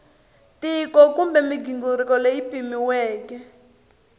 tiko kumbe mighingiriko leyi pimiweke